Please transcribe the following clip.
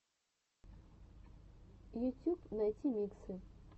ютюб найти миксы